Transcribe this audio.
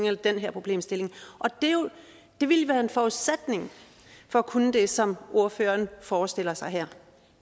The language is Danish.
eller den problemstilling det ville være en forudsætning for at kunne det som ordføreren forestiller sig her